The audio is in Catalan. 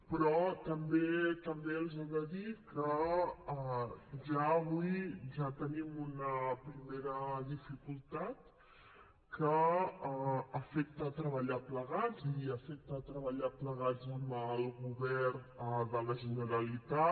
però també els he de dir que ja avui ja tenim una primera dificultat que afecta treballar plegats i afecta treballar plegats amb el govern de la generalitat